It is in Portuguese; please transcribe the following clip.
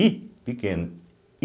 I pequeno.